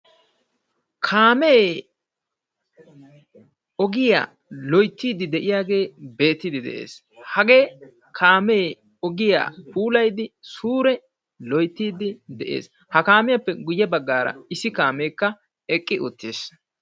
Kaame ogiyaa loyttide de'iyaage beetide de'ees; hagee kaame ogiyaa puulayddi suure loyttid de'ees; ha kaamiyappe guyye baggara issi kaamekka eqqi uttiis.